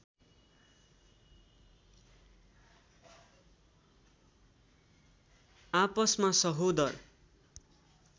आपसमा सहोदर